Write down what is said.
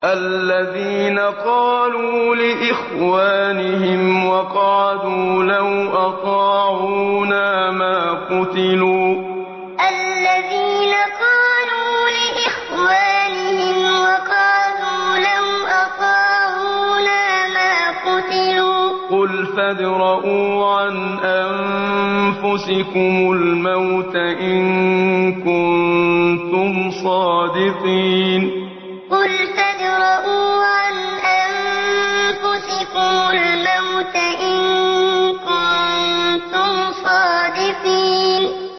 الَّذِينَ قَالُوا لِإِخْوَانِهِمْ وَقَعَدُوا لَوْ أَطَاعُونَا مَا قُتِلُوا ۗ قُلْ فَادْرَءُوا عَنْ أَنفُسِكُمُ الْمَوْتَ إِن كُنتُمْ صَادِقِينَ الَّذِينَ قَالُوا لِإِخْوَانِهِمْ وَقَعَدُوا لَوْ أَطَاعُونَا مَا قُتِلُوا ۗ قُلْ فَادْرَءُوا عَنْ أَنفُسِكُمُ الْمَوْتَ إِن كُنتُمْ صَادِقِينَ